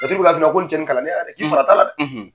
Laturu b'a f'i ye i ɲɛna ko nin cɛ nin kalannenya dƐ!